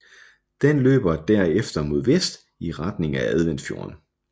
Den løber derefter mod vest i retning af Adventfjorden